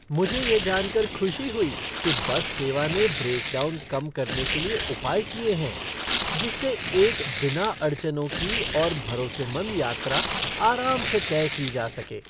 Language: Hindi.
मुझे यह जानकर खुशी हुई कि बस सेवा ने ब्रेकडाउन कम करने के लिए उपाय किए हैं, जिससे एक बिना अड़चनों की और भरोसेमंद यात्रा आराम से तय की जा सके।